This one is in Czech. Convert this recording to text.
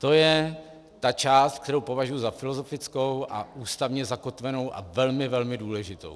To je ta část, kterou považuji za filozofickou a ústavně zakotvenou a velmi, velmi důležitou.